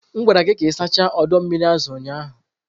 M gwara gị ka ị sachaa ọdọ mmiri azụ ụnyahụ!